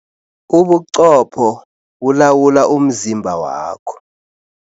Ubuqopho bulawula umzimba wakho.